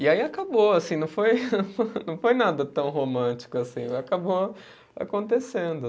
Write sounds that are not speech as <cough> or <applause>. E aí acabou assim, não foi <laughs> não foi nada tão romântico assim, acabou acontecendo.